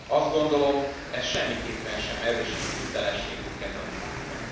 Azt gondolom, ez semmiképpen sem erősíti hitelességünket a világban.